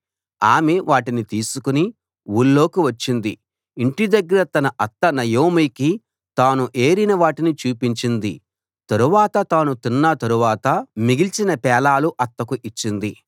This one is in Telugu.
ఆమె వాటిని తీసుకుని ఊళ్ళోకి వచ్చింది ఇంటి దగ్గర తన అత్త నయోమికి తాను ఏరిన వాటిని చూపించింది తరువాత తాను తిన్న తరువాత మిగిల్చిన పేలాలు అత్తకు ఇచ్చింది